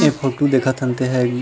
इ फोटो देखत हन तेन ह री--